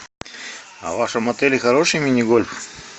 а в вашем отеле хороший мини гольф